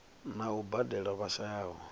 na u badela vha shayaho